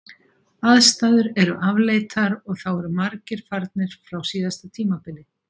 Aðstæður eru afleitar og þá eru margir farnir frá síðasta tímabili.